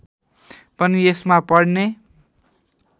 पनि यसमा पढ्ने